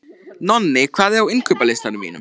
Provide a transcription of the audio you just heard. Nonni, hvað er á innkaupalistanum mínum?